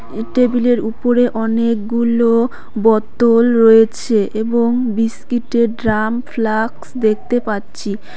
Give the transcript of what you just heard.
এ টেবিলের উপরে অনেকগুলো বোতল রয়েছে এবং বিস্কিটের ড্রাম ফ্লাক্স দেখতে পাচ্ছি।